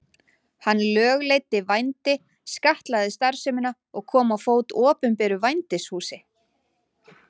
Hann lögleiddi vændi, skattlagði starfsemina og kom á fót opinberu vændishúsi.